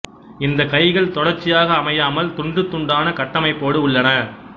இந்தக் கைகள் தொடர்ச்சியாக அமையாமல் துண்டு துண்டான கட்டமைப்போடு உள்ளன